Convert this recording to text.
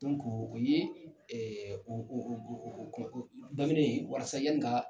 o ye o o o daminɛ walasa yanni ka